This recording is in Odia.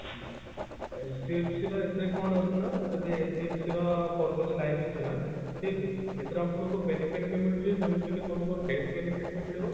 HDFC ର ଏଥିରେ କଣ ରହୁଛି ନା ଯଦି HDFC ର କରୁଛନ୍ତି life insurance ଠିକ ଅଛି ଏଥିରେ ଆପଣଙ୍କୁ benefit ବି ମିଳୁଛି ଯେମତି କି ତମକୁ death benefit ବି ମିଳିବ